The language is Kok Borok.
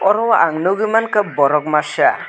oro ang nukgui mankha borok masa.